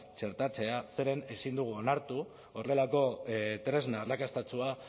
txertatzea zeren ezin dugu onartu horrelako tresna arrakastatsua